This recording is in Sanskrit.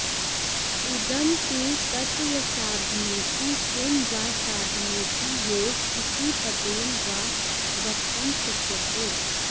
इदं तु तत्त्वसाधनेति किं वा साधनेति योग इति पदेन वा वक्तं शक्यते